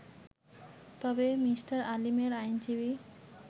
তবে মি. আলীমের আইনজীবী